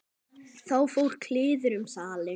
Þá fór kliður um salinn.